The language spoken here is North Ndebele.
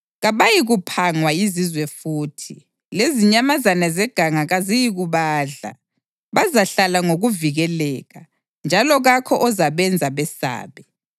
Kabayikuphangwa yizizwe futhi, lezinyamazana zeganga kaziyikubadla. Bazahlala ngokuvikeleka, njalo kakho ozabenza besabe.